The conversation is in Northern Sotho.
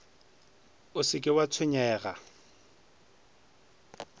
o se ke wa tshwenyega